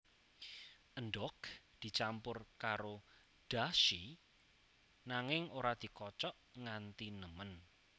Endhog dicampur karo dashi nanging ora dikocok nganti nemen